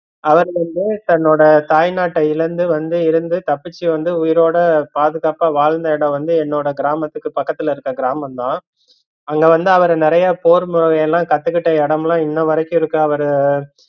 அவரு வந்து தன்னோட தாய் நாட்ட இழந்து வந்து இருந்து தப்பிச்சு வந்து உயிரோட பாதுகாப்பா வாழ்ந்த இடம் வந்து என்னோட கிராமத்துக்கு பக்கத்துல இருக்கற கிராமம் தான் அங்க வந்து அவரு நிறைய போர் முறையெல்லாம் கத்துகிட்ட இடம்லாம் இன்ன வரைக்கும் இருக்கு அவரு